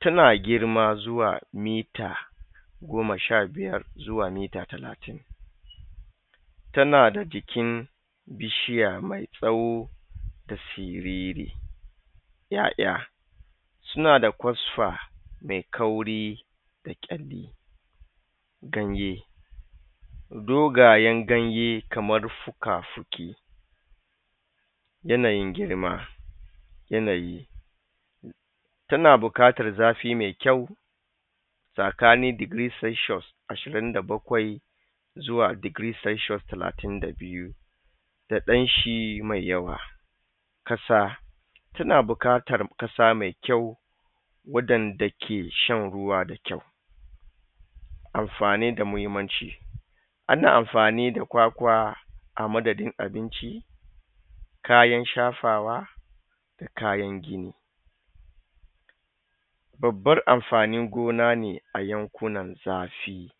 tana girma zuwa mita goma sha biyar zuwa mita talatin tana da jikin bishiya me tsawo da siriri YaYa sunada kosfa me kauri da kyalli ganye do ganyen ganye kamar fuka fuki yanayin girma yanayi tana buƙatar zafi me kyau tsakanin digiri salshiyos ashirin da bakwai zuwa digiri salshiyos talatin da biyu da ɗanshi me yawa ƙ asa tana buƙatar ƙasa me kayu waɗanda ke shan ruwa da kyau amfani da mahimman ci ana amfani da kwakwa amadadin abinci kayan shafawa kayan gini babban amfanin gona ne a yankunan zafi